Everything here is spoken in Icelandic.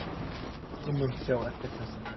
Þú munt sjá eftir þessu